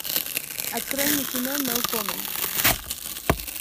открой мне кино ноу коммент